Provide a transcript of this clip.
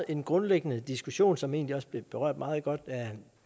en grundlæggende diskussion som egentlig også blev berørt meget godt af